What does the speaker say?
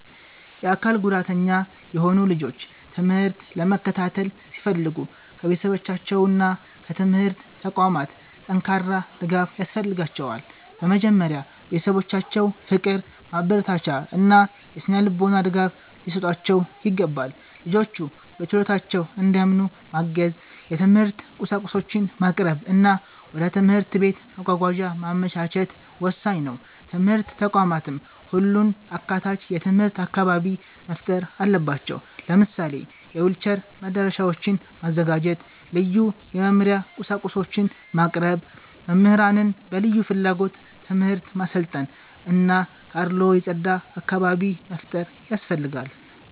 የአካል ጉዳተኛ የሆኑ ልጆች ትምህርት ለመከታተል ሲፈልጉ ከቤተሰባቸውና ከትምህርት ተቋማት ጠንካራ ድጋፍ ያስፈልጋቸዋል። በመጀመሪያ ቤተሰቦቻቸው ፍቅር፣ ማበረታቻ እና የሥነ-ልቦና ድጋፍ ሊሰጧቸው ይገባል። ልጆቹ በችሎታቸው እንዲያምኑ ማገዝ፣ የትምህርት ቁሳቁሶችን ማቅረብ እና ወደ ትምህርት ቤት መጓጓዣ ማመቻቸት ወሳኝ ነው። ትምህርት ተቋማትም ሁሉን አካታች የትምህርት አካባቢ መፍጠር አለባቸው። ለምሳሌ የዊልቸር መዳረሻዎችን ማዘጋጀት፣ ልዩ የመማሪያ ቁሳቁሶችን ማቅረብ፣ መምህራንን በልዩ ፍላጎት ትምህርት ማሰልጠን እና ከአድልዎ የጸዳ አካባቢ መፍጠር ያስፈልጋል።